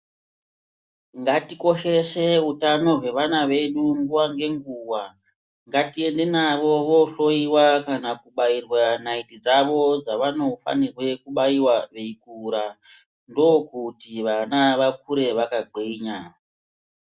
Ngatikoshese utano hwevana veshe nguwa ngenguwa ngatiende navo vonhloiwa kana kubairwa naiti dzavo dzavanofanira kubaiwa veikura ngokuti vana vakure vakagwinya .